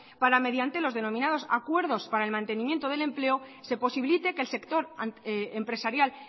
para mediante los denominados acuerdos para el mantenimiento del empleo se posibilite que el sector empresarial